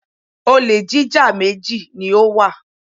Olè jíjá méjì ni ó wà.